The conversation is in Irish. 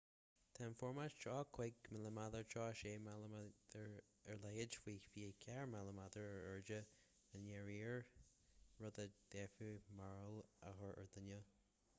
tá an formáid 35 mm 36 mm ar leithead faoi 24 mm ar airde i ndáiríre rud a d'fhéadfadh mearbhall a chur ar dhuine